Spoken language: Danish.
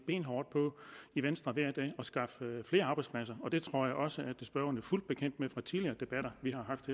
i venstre hver dag benhårdt at skaffe flere arbejdspladser og det tror jeg også at spørgeren er fuldt bekendt med fra tidligere debatter vi har haft